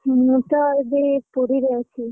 ମୁଁ ତ ଏବେ ପୁରୀରେ ଅଛି।